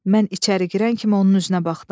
Mən içəri girən kimi onun üzünə baxdım.